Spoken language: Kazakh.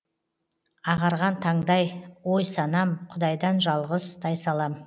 ағарған таңдай ой санам құдайдан жалғыз тайсалам